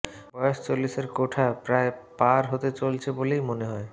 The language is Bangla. বয়স চল্লিশের কোঠা প্রায় পার হতে চলেছে বলেই মনে হয়